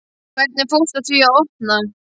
Hvernig fórstu að því að opna?